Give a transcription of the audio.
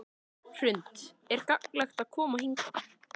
Hrund: Er gagnlegt að koma hingað?